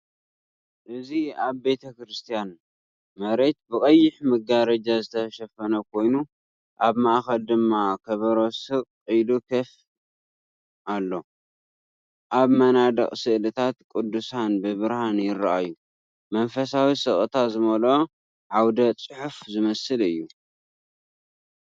እዚ ኣብ ቤተክርስትያን፡ መሬት ብቐይሕ መጋረጃ ዝተሸፈነ ኮይኑ፡ ኣብ ማእከል ድማ ከበሮ ስቕ ኢሉ ኮፍ ኣሎ። ኣብ መናድቕ ስእልታት ቅዱሳን ብብርሃን ይራኣዩ፤ መንፈሳዊ ስቕታ ዝመልኦ ዓውደ-ጽሑፍ ዝመስል እዩ።